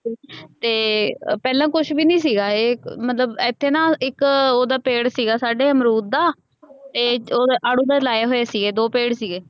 ਤੇ ਪਹਿਲਾਂ ਕੁਜ ਵੀ ਨਹੀ ਸੀਗਾ ਏ ਮਤਲਬ ਏਥੇ ਨਾ ਇਕ ਓਹਦਾ ਪੇੜ ਸੀਗਾ ਸਾਡੇ ਅਮਰੂਦ ਦਾ ਤੇ ਆੜੂ ਦਾ ਲਾਏ ਹੋਏ ਸੀਗੇ ਦੋ ਪੇੜ ਸੀਗੇ।